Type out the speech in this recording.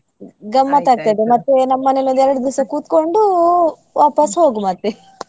ಗಮ್ಮತ್ ಆಗ್ತದೆ ಮತ್ತೆ ನಮ್ಮನೆನಲ್ಲಿ ಎರಡ್ದಿವ್ಸ ಕುತ್ಕೊಂಡು ವಾಪಸ್ ಹೋಗ್ ಮತ್ತೆ.